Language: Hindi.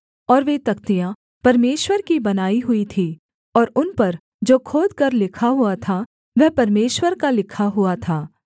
और वे तख्तियाँ परमेश्वर की बनाई हुई थीं और उन पर जो खोदकर लिखा हुआ था वह परमेश्वर का लिखा हुआ था